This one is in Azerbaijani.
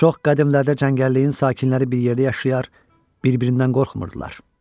Çox qədimlərdə cəngəlliyin sakinləri bir yerdə yaşayar, bir-birindən qorxmurdular.